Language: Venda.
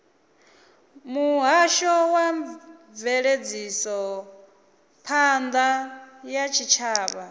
muhasho wa mveledzisophan ḓa ya tshitshavha